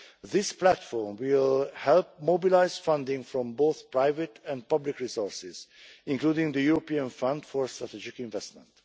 This platform will help mobilise funding from both private and public resources, including the European Fund for Strategic Investment.